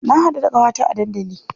Na haɗu da ƙawata a dandali.